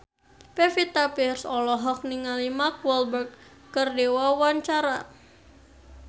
Pevita Pearce olohok ningali Mark Walberg keur diwawancara